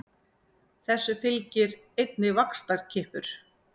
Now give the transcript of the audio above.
Þessu fylgir einnig vaxtarkippur.